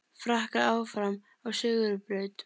Frakkar áfram á sigurbraut